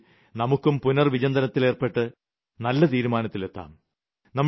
അത്തരത്തിൽ നമുക്കും പുനർവിചിന്തനത്തിലേർപ്പെട്ട് നല്ല തീരുമാനത്തിലെത്താം